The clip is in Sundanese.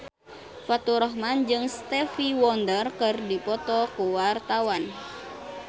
Faturrahman jeung Stevie Wonder keur dipoto ku wartawan